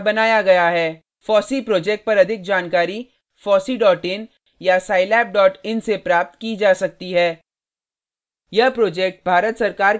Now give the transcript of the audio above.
fossee project पर अधिक जानकारी fosseein या scilabin से प्राप्त की जा सकती है